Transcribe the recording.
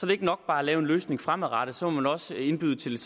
det ikke nok bare at lave en løsning fremadrettet så må man også indbyde til lidt